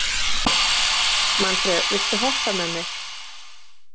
Manfreð, viltu hoppa með mér?